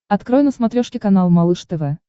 открой на смотрешке канал малыш тв